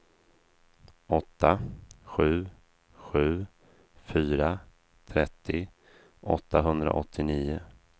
åtta sju sju fyra trettio åttahundraåttionio